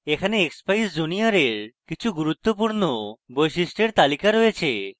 এখানে expeyes junior এর কিছু গুরুত্বপূর্ণ বৈশিষ্ট্য এর তালিকা রয়েছে